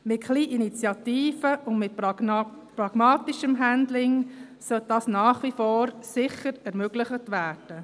Mit etwas Initiative und pragmatischem Handling sollte das sicher nach wie vor ermöglicht werden.